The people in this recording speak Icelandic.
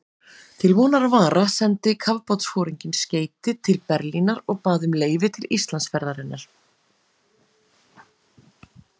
Til vonar og vara sendi kafbátsforinginn skeyti til Berlínar og bað um leyfi til Íslandsferðarinnar.